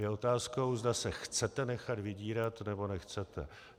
Je otázkou, zda se chcete nechat vydírat, nebo nechcete.